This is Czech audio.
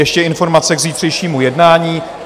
Ještě informace k zítřejšímu jednání.